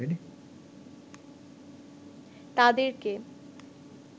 তাদেরকে